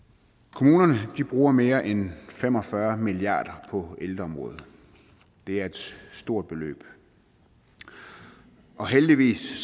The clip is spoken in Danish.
kommunerne bruger mere end fem og fyrre milliard kroner på ældreområdet det er et stort beløb og heldigvis